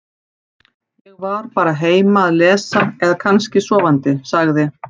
Ég var bara heima að lesa eða kannski sofandi- sagði